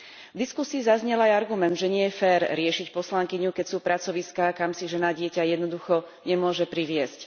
V diskusii zaznel aj argument, že nie je fér riešiť poslankyňu, keď sú pracoviská, kam si žena dieťa jednoducho nemôže priviesť.